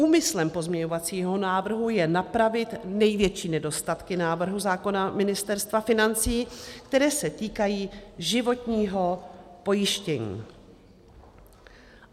Úmyslem pozměňovacího návrhu je napravit největší nedostatky návrhu zákona Ministerstva financí, které se týkají životního pojištění.